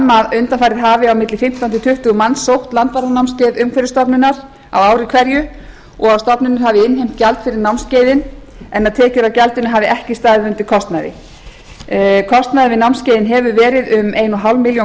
að undanfarið hafi milli fimmtán og tuttugu manns sótt landvarðanámskeið umhverfisstofnunar á ári hverju og hefur stofnunin innheimt gjald fyrir námskeiðin en tekjur af gjaldinu hafa ekki staðið undir kostnaði kostnaður við námskeiðin hefur verið um eins og hálfa milljón króna